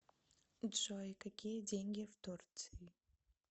джой какие деньги в турции